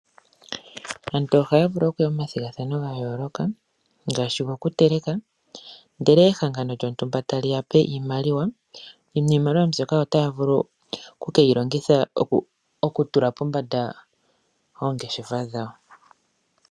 Aantu ohaya vulu okuya momathigathano ga yooloka ngaashi gokuteleka, ndele ehangano lyontumba tali ya pe iimaliwa. Iimaliwa mbyoka otaya vulu okuyi longitha okuyambula po oongeshefa dhawo.